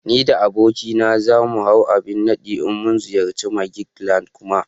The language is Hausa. Ni da abokina za mu hau abin nadi in mun ziyarci "magic land" Kuma